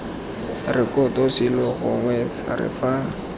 rekoto selo gongwe sere fa